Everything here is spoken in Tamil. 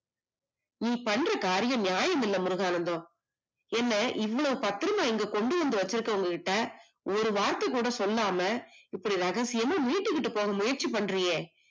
நீ பண்ற காரியம் நியாயம் இல்ல முருகானந்தம் என்ன இங்க பத்திரமா கொண்டு வந்து வச்சிருக்கவங்க கிட்ட ஒரு வார்த்தை கூட சொல்லாம இப்படி ரகசியமா மீட்டுக் கொண்டு போக முயற்சி பண்றீங்க